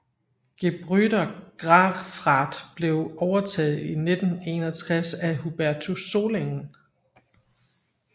Gebrüder Grafrath blev overtaget i 1961 af Hubertus Solingen